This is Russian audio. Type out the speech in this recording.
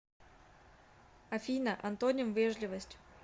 афина антоним вежливость